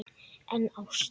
En ást?